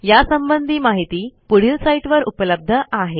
यासंबंधी माहिती पुढील साईटवर उपलब्ध आहे